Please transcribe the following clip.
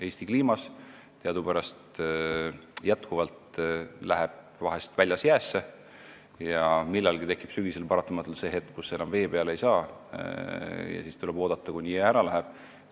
Eesti kliimas läheb teadupärast vesi vahel väljas jäässe ja millalgi sügisel tekib paratamatult see hetk, kui sõudjad enam vee peale ei saa ja tuleb oodata, kuni jää ära läheb.